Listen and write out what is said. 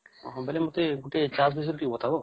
ଓହୋ ବୋଲେ ମୋତେ ଗୁଟେ ଚାଷ୍ ବିଷୟରେ ବତାବ ?